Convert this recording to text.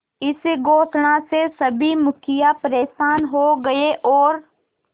इस घोषणा से सभी मुखिया परेशान हो गए और